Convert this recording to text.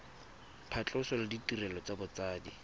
phatlhoso le ditirelo tsa botsadi